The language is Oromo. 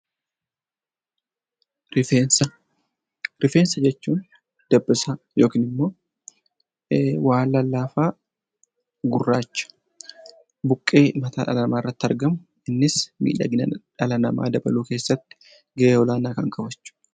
Rifeensa Rifeensa jechuun dabbasaa yookiin immoo waan lallaafaa, gurraacha, buqqee mataa dhala namaa irratti argamu innis miidhagina dhala namaa dabaluu keessatti gahee olaanaa kan qaban jechuu dha.